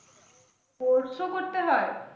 Course ও করতে হয়?